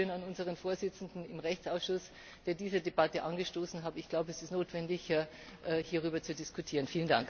Ein Dankeschön an unseren Vorsitzenden im Rechtsausschuss, der diese Debatte angestoßen hat. Ich glaube, es ist notwendig, hierüber zu diskutieren.